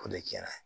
O de kɛra